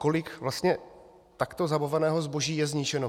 Kolik vlastně takto zabaveného zboží je zničeno?